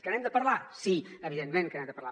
que n’hem de parlar sí evidentment que n’hem de parlar